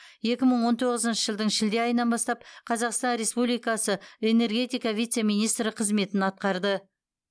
екі мың он тоғызыншы жылдың шілде айынан бастап қазақстан республикасы энергетика вице министрі қызметін атқарды